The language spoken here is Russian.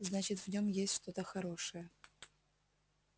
значит в нем есть что-то хорошее